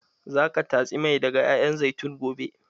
Za ka tatsi mai daga ƴaƴan zaitun gobe?